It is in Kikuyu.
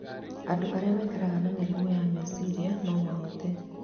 Andũ arĩa maikaraga na mĩrimũ ya meciria no mahote